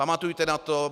Pamatujte na to.